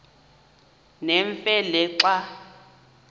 nemfe le xa